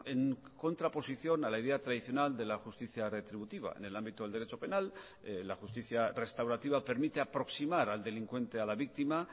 en contraposición a la idea tradicional de la justicia retributiva en el ámbito del derecho penal la justicia restaurativa permite aproximar al delincuente a la víctima